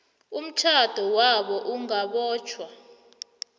umtjhado wabo ungabotjhwa